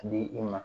Di i ma